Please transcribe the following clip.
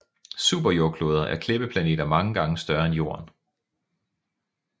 Superjordkloder er klippeplaneter mange gange større end Jorden